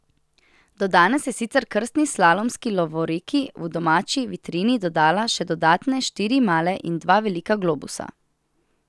Do danes je sicer krstni slalomski lovoriki v domači vitrini dodala še dodatne štiri male in dva velika globusa.